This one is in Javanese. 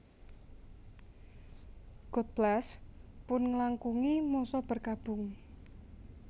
God Bless pun ngelangkungi masa berkabung